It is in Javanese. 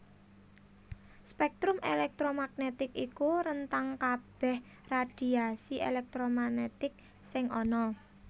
Spektrum elektromagnetik iku rentang kabèh radhiasi elektromagnetik sing ana